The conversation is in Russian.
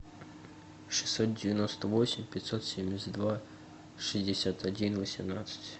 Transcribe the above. шестьсот девяносто восемь пятьсот семьдесят два шестьдесят один восемнадцать